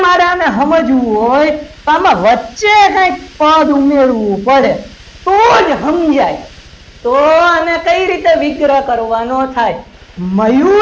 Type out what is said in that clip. બધાને સમજવું હોય તો આમાં વચ્ચે કંઈક પદ ઉમેરવું પડે તો જ સમજાય તો આને કઈ રીતે વિગ્રહ કરવાનું થાય મયુર